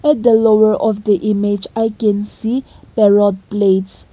the lower of the image i can see parrot plates.